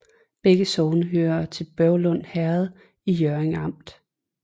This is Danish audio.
Begge sogne hørte til Børglum Herred i Hjørring Amt